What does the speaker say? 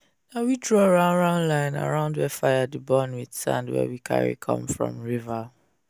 na we draw round-round line around where fire dey burn with sand wey we carry come from river.